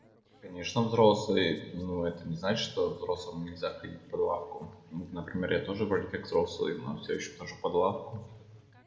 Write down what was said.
конечно взрослые но это не значит что взрослым нельзя ходить под лавку вот например я тоже вроде как взрослый но всё ещё хожу под лавку